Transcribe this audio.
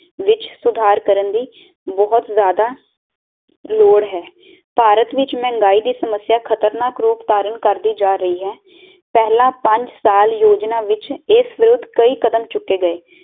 ਵਿਚ ਸੁਧਾਰ ਕਰਨ ਦੀ ਬਹੁਤ ਜਾਦਾ ਲੋੜ ਹੈ ਭਾਰਤ ਵਿਚ ਮਹਿੰਗਾਈ ਦੀ ਸਮਸਿਆ ਖਤਨਾਕ ਰੂਪ ਤਾਰਨ ਕਰਦੀ ਜਾ ਰਹੀ ਹੈ ਪਹਿਲਾ ਪੰਜ ਸਾਲ ਯੋਜਨਾ ਵਿਚ ਇਸ ਵਿਰੁੱਧ ਕਈ ਕਦਮ ਚੁੱਕੇ ਗਏ